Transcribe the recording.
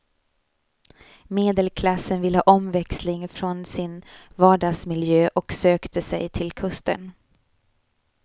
Medelklassen ville ha omväxling från sin vardagsmiljö och sökte sig till kusten.